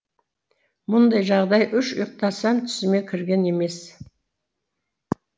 мұндай жағдай үш ұйықтасам түсіме кірген емес